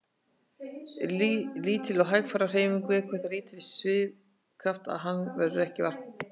Lítil og hægfara hreyfing vekur það lítinn svigkraft að hans verður ekki eða varla vart.